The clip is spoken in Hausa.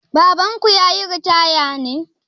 Babanku ya yi ritaya ne?